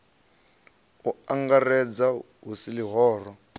u angaredza hu si ḽihoro